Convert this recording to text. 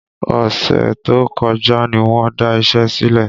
Ọ̀sẹ̀ tó kọjá ní wọn da iṣẹ́ sílẹ̀